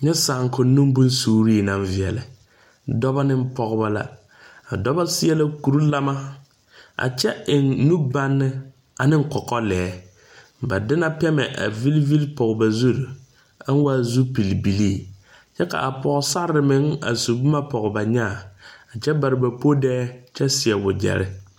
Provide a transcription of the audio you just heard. Nyɛ saakoŋnoŋ bonsuuree naŋ veɛlɛ Dɔbɔ neŋ pɔgebɔ la a dɔbɔ seɛ la kurelamma a kyɛ eŋ nu baŋne aneŋ kɔkɔlɛɛ ba de la pɛmɛ a vilivili pɔg ba zurre a waa zupil bilii kyɛ ka pɔɔsarre meŋ a su bomma pɔg ba nyaa kyɛ bare ba podɛɛ kyɛ seɛ wagyɛrre.